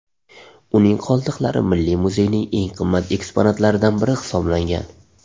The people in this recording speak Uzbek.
Uning qoldiqlari Milliy muzeyning eng qimmat eksponatlaridan biri hisoblangan.